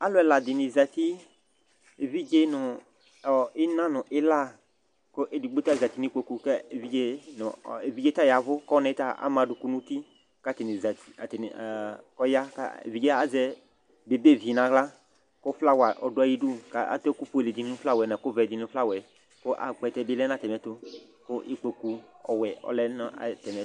Alu ɛla di zati evidze nu ina nu ila ɔlu edigbo zati nu ɛkplɔtu evidze yavu ku ɔnayɛ ta ama adukulu nuuti evidze azɛ bebevi nu aɣla ku flawa ɔdu ayidu adu ɛkufue nu ɛkuvɛ nu flawa yɛli ku akpɛtɛ dibi lɛ nu atamiɛtu ikpoku ɔwɛ ɔlɛ nu atamiɛtu